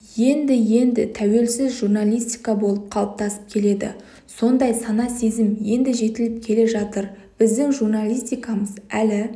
енді-енді тәуелсіз журналистика болып қалыптасып келеді сондай сана-сезім енді жетіліп келе жатыр біздің журналистикамыз әлі